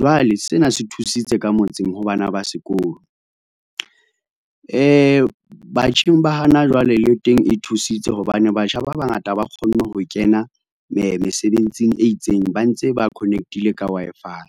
jwale sena se thusitse ka motseng ha bana ba sekolo. Batjheng ba hana jwale le teng e thusitse hobane batjha ba bangata ba kgonne ho kena mesebetsing e itseng ba ntse ba connect-ile ka Wi-Fi.